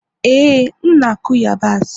ee, m na-akụ yabasị